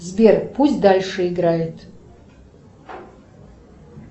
сбер пусть дальше играет